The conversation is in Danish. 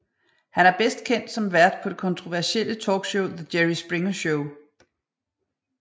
Han er bedst kendt som vært på det kontroversielle talkshow The Jerry Springer Show